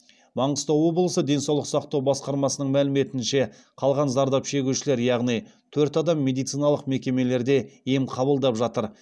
маңғыстау облысы денсаулық сақтау басқармасының мәліметінше қалған зардап шегушілер яғни төрт адам медициналық мекемелерде ем қабылдап жатыр